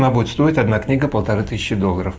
она будет стоить одна книга полторы тысячи долларов